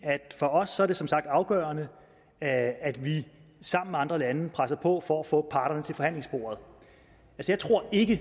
at for os er det som sagt afgørende at at vi sammen med andre lande presser på for at få parterne til forhandlingsbordet jeg tror ikke